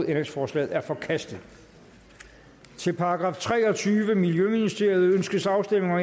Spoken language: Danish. ændringsforslaget er forkastet til § treogtyvende miljøministeriet ønskes afstemning